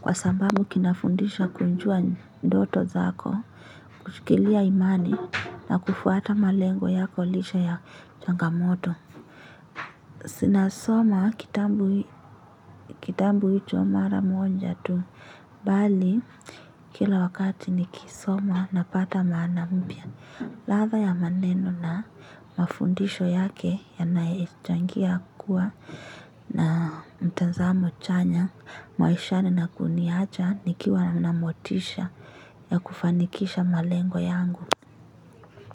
Kwa sababu kinafundisha kunjua ndoto zako kushikilia imani na kufuata malengo yako lisha ya changamoto zinasoma kitabu hicho mara moja tu bali kila wakati nikisoma napata maana mpya latha ya maneno na mafundisho yake yanayechangia kuwa na mtanzamo chanya mwaishani na kuniacha nikiwa namotisha ya kufanikisha malengo yangu.